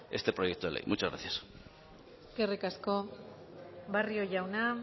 este proyecto de ley muchas gracias eskerrik asko barrio jauna